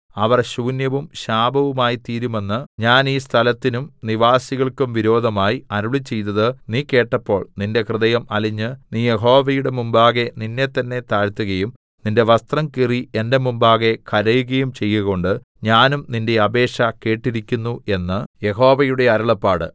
അവർ ശൂന്യവും ശാപവുമായിത്തീരുമെന്ന് ഞാൻ ഈ സ്ഥലത്തിനും നിവാസികൾക്കും വിരോധമായി അരുളിച്ചെയ്തത് നീ കേട്ടപ്പോൾ നിന്റെ ഹൃദയം അലിഞ്ഞ് നീ യഹോവയുടെ മുമ്പാകെ നിന്നെത്തന്നെ താഴ്ത്തുകയും നിന്റെ വസ്ത്രം കീറി എന്റെ മുമ്പാകെ കരയുകയും ചെയ്കകൊണ്ട് ഞാനും നിന്റെ അപേക്ഷ കേട്ടിരിക്കുന്നു എന്ന് യഹോവയുടെ അരുളപ്പാട്